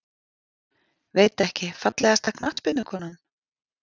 Veit ekki Fallegasta knattspyrnukonan?